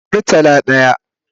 Murtala daya